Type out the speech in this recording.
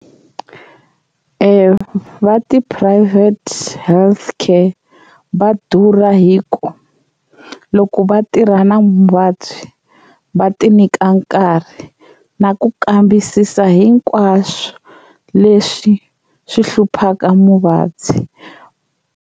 E va tiphurayivhete health care va durha hi ku loko va tirha na muvabyi va ti nyika nkarhi na ku kambisisa hinkwaswo leswi swi hluphaka muvabyi.